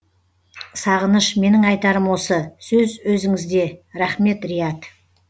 сағыныш менің айтарым осы сөз өзіңізде рахмет риат